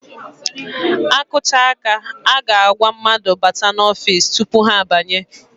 A kụcha áká, a ga-agwa mmadụ bata n'ofiisi tupu ha banye.